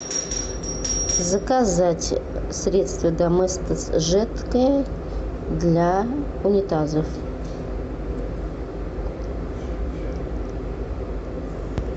заказать средство доместос жидкое для унитазов